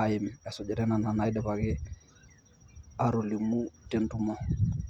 aim esujitai nena naatejoki tentumo.